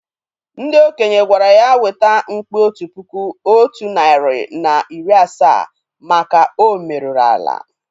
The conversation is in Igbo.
Ndị okenye gwara ya weta mkpi otu puku otu narị na iri asaa maka o merụrụ ala